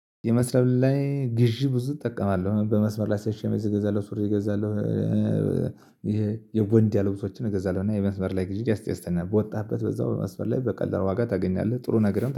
የመስመር ላይ ግዢ ብዙ እጠቀማለሁ በመስመር ላይ ሲ ሸሚዝ እገዛለሁ ሱሪ እገዛለሁ። ይሄ የቦንዳ ልብሶችን እገዛለሁና የመስመር ላይ ግዢ ያስደስተኛል በወጣህበት በዛው በመስመር ላይ በቀላል ዋጋ ታገኛለህ ጥሩ ነገርም